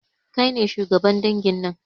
Kai ne shugaban dangin nan